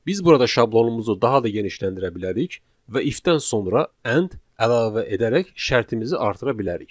Biz burada şablonumuzu daha da genişləndirə bilərik və if-dən sonra end əlavə edərək şərtimizi artıra bilərik.